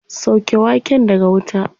Sauke waken daga wuta.